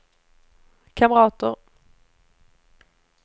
kamrater